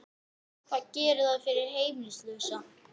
Hvað gerir það fyrir heimilislausa?